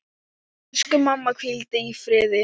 Elsku mamma, hvíldu í friði.